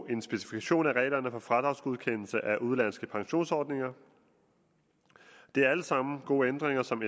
en specifikation af reglerne for fradragsgodkendelse af udenlandske pensionsordninger det er alle sammen gode ændringer som